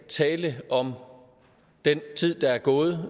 tale om den tid der er gået